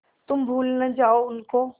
तुम भूल न जाओ उनको